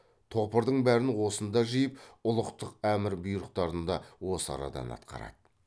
топырдың бәрін осында жиып ұлықтық әмір бұйрықтарын да осы арадан атқарады